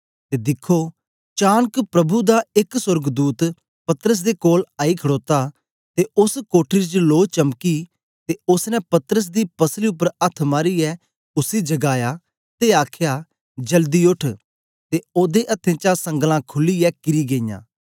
ते दिखो चानक प्रभु दा एक सोर्गदूत पतरस दे कोल आई खड़ोता ते ओस कोठरी च लो चमकी ते ओसने पतरस दी पसली उपर अथ्थ मारीयै उसी जगाया ते आखया जल्दी उठ ते ओदे अथ्थें चा संगलां खुलीयै किरी गेईयां